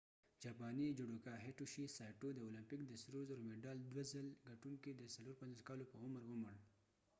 جاپانی جوډوکا هیټوشي سایټو judoka hitoshi saitoد اولمپک د سرو زرو مډال دوه څل ګټونکې د 54 کالو په عمر ومړ